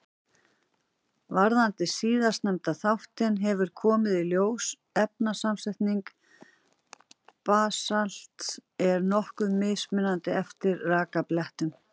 Varðandi síðastnefnda þáttinn hefur komið í ljós að efnasamsetning basalts er nokkuð mismunandi eftir rekbeltunum.